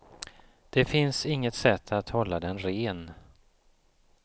Det finns inget sätt att hålla den ren.